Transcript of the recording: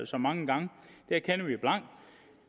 så mange gange det erkender vi blankt